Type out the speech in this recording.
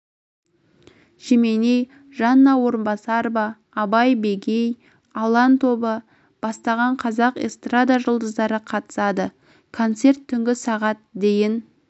жеменей жанна орынбасарова абай бегей алан тобы бастағанқазақ эстрада жұлдыздары қатысады концерт түнгі сағат дейін